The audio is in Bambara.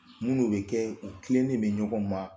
Munnu bɛ kɛ u tilenen don ɲɔgɔn ma